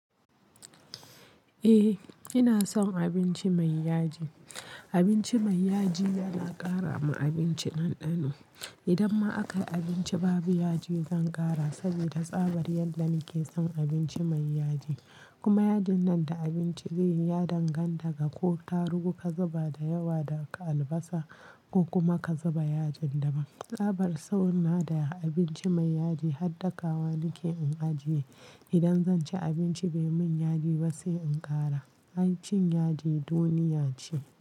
Eh ina son abinci mai yaji. Abinci mai yaji yana ƙara ma abinci ɗanɗano. Idan ma akayi abinci babu yaji zan ƙara saboda tsabar yada na ke son abinci mai yaji. Kuma yajin nan da abinci zaiyi ya danganta ga ko tarugu ka zuba da yawa da albasa ko kuma ka zuba yajin daban. Tsabar sona da abinci mai yaji har dakawa nike in ajiye. Idan zan ci abinci bai mun yaji ba sai in ƙara. Ai cin yaji duniya ce.